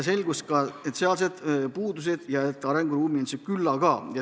Selgus, et puudusi on ja arenguruumi on küllaga.